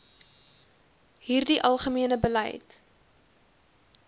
hierdie algemene beleid